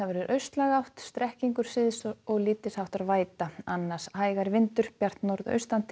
austlæg átt strekkingur syðst og lítils háttar væta annars hægari vindur bjart norðaustan til